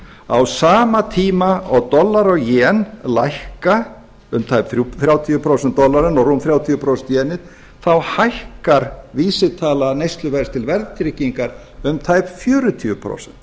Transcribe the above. á sama tíma og dollari og jen lækka um tæp þrjátíu prósent dollarinn og rúm þrjátíu prósent jenið þá hækkar vísitala neysluverðs til verðtryggingar um tæp fjörutíu prósent